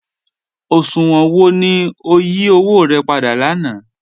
Oṣuwọn wọ ni o yí owo rẹ̀ pàdà lànà?